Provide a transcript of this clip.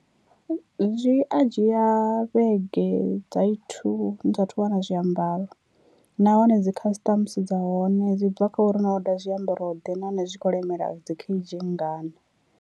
Zwi a dzhia vhege dza ithu ni sathu wana zwiambaro nahone dzi customs dza hone dzi bva kha uri no order zwiambaro ḓe nahone zwi khou lemela dzi kheidzhi nngana.